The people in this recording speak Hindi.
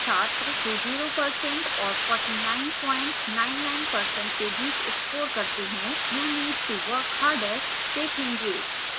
छात्र जो 0% और 4999% के बीच score करते हैं you need to work harder देखेंगे